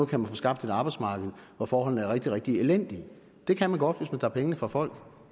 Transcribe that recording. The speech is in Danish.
kan man få skabt et arbejdsmarked hvor forholdene er rigtig rigtig elendige det kan man godt hvis man tager pengene fra folk